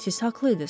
Siz haqlı idiz.